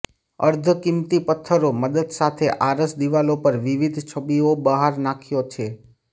અર્ધ કિંમતી પત્થરો મદદ સાથે આરસ દિવાલો પર વિવિધ છબીઓ બહાર નાખ્યો છે